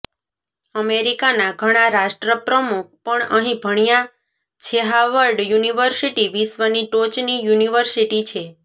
અમેરિકાના ઘણા રાષ્ટ્રપ્રમુખ પણ અહીં ભણ્યા છેહાવર્ડ યુનિવર્સિટી વિશ્વની ટોચની યુનિવર્સિટી છે